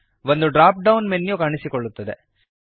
ಒಂದು drop down menu ಕಾಣಿಸಿಕೊಳ್ಳುತ್ತದೆ